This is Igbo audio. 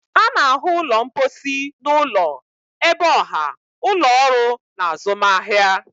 A na-ahụ ụlọ mposi n'ụlọ, ebe ọha, ụlọ ọrụ na azụmahịa.